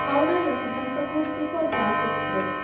Howrah Yesvantpur superfast express